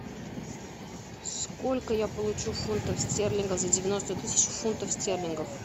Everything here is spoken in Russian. сколько я получу фунтов стерлингов за девяносто тысяч фунтов стерлингов